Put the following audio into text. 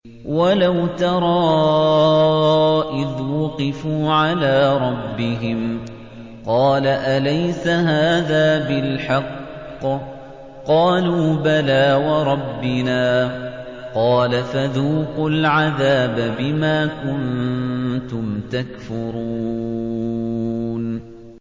وَلَوْ تَرَىٰ إِذْ وُقِفُوا عَلَىٰ رَبِّهِمْ ۚ قَالَ أَلَيْسَ هَٰذَا بِالْحَقِّ ۚ قَالُوا بَلَىٰ وَرَبِّنَا ۚ قَالَ فَذُوقُوا الْعَذَابَ بِمَا كُنتُمْ تَكْفُرُونَ